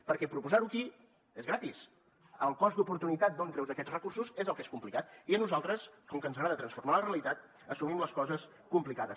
perquè proposar ho aquí és gratis el cost d’oportunitat d’on treus aquests recursos és el que és complicat i a nosaltres com que ens agrada transformar la realitat assumim les coses complicades